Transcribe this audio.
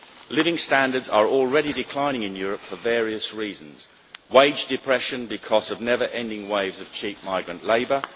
Living standards are already declining in Europe for various reasons wage depression because of never ending waves of cheap migrant labour